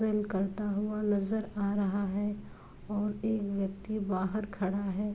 करता हुआ नजर आ रहा है और एक व्यक्ति बाहर खड़ा है।